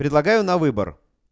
предлагаю на выбор